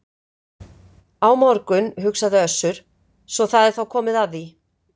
Á morgun, hugsaði Össur, svo það er þá komið að því.